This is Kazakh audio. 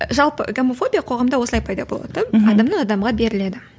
жалпы гомофобия қоғамда осылай пайда болады мхм адамнан адамға беріледі